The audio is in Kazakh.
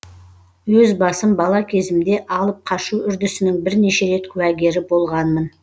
өз басым бала кезімде алып қашу үрдісінің бірнеше рет куәгері болғанмын